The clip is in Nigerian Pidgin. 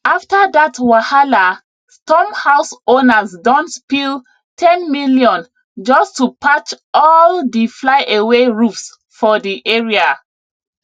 after dat wahala storm house owners don spill ten million just to patch all diflyaway roofs for di area